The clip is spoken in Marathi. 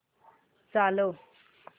चालव